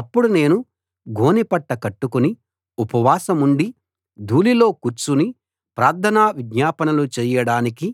అప్పుడు నేను గోనెపట్ట కట్టుకుని ఉపవాసముండి ధూళిలో కూర్చుని ప్రార్థన విజ్ఞాపనలు చేయడానికి